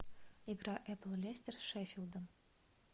игра апл лестер с шеффилдом